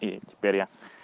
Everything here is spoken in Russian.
и теперь я